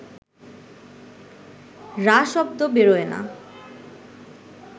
রা শব্দ বেরোয় না